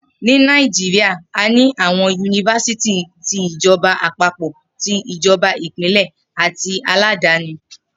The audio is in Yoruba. Ni Naijiria, a ní àwọn yunifásítì ti ìjọba àpapọ̀, tí ìjọba Ìpínlẹ̀ àti aládàáni